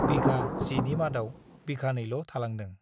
बिघा 10 नि मादाव बिघानैल' थालांदों ।